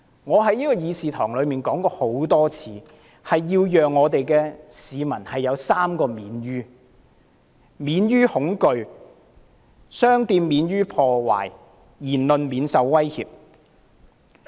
我在議事堂曾多次指出，要讓市民有3個"免於"，亦即免於恐懼、商店免於被破壞、言論免於受威脅。